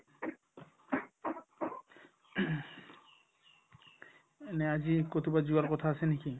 এনে আজি কৰোবাত যোৱাৰ কথা আছে নেকি ?